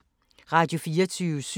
Radio24syv